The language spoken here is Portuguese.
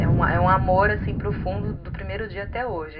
É um amor profundo do primeiro dia até hoje.